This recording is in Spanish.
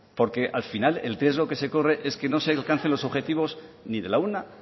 porque al final el riesgo que se corre es que no se alcance los objetivos ni de la una